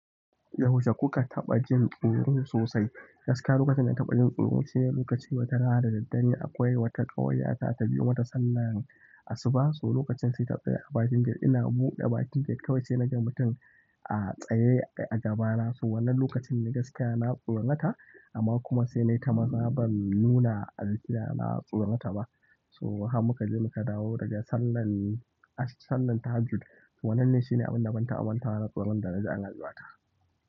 Yaushe kuka taɓa jin tsoro sosai? Gaskiya lokacin da na taɓa jin tsoro shine lokacin wata rana da daddare, akwai wata ƙawar yata tabiyo mata sallan asuba, so lokacin sai ta tsaye a bakin gate, ina buɗe bakin gate kawai sai na ga mutum a tsaye a gaba na. So wannan lokacin ni gaskiya na tsorata, amma kuma sai na yi ta maza ban nuna alkira na tsorata ba. So har muka je muka dawo daga sallar, sallar tahajjud. Wannan ne shine abin da ban taɓa mantawa na tsoron da na ji a rayuwa ta.